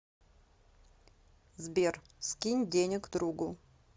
сбер скинь денег другу